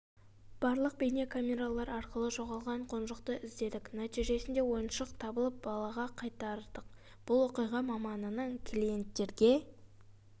барлық бейне камералар арқылы жоғалған қонжықты іздедік нәтижесінде ойыншық табылып балаға қайтардық бұл оқиға маманының клиенттерге